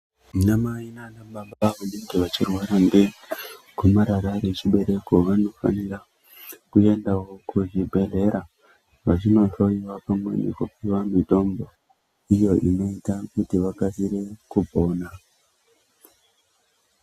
Vanamai nanababa vanenge vachirwara ngegomarara rechibereko vanofanira kuendawo kuzvibhedhleya vachinohloyiwa pamwepo nekupuwe mitombo iyo inoita kuti vakasire kupona.